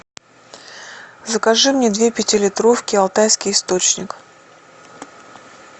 закажи мне две пятилитровки алтайский источник